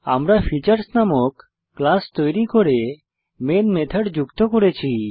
আমরা ফিচার্স নামক ক্লাস তৈরী করে মেন মেথড যুক্ত করেছি